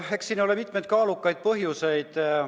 Eks siin ole mitmeid kaalukaid põhjuseid.